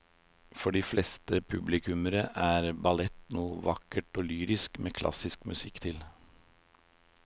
For de fleste publikummere er ballett noe vakkert og lyrisk med klassisk musikk til.